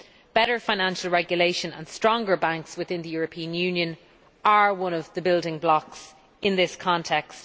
Better financial regulation and stronger banks within the European Union are one of the building blocks in this context.